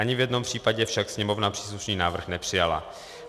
Ani v jednom případě však Sněmovna příslušný návrh nepřijala.